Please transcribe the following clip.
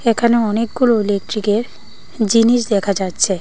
এখানে অনেকগুলো ইলেক্ট্রিকের জিনিস দেখা যাচ্ছে।